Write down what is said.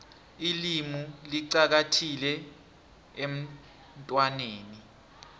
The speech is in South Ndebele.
ilimu licakathekile emntwaneni